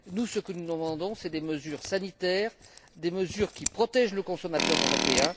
Nous demandons des mesures sanitaires, des mesures qui protègent le consommateur européen.